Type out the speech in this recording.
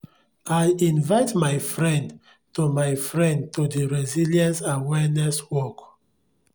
i invite my friend to my friend to di resilience awareness walk